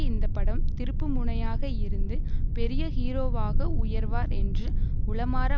இந்த படம் திருப்புமுனையாக இருந்து பெரிய ஹீரோவாக உயர்வார் என்று உளமாற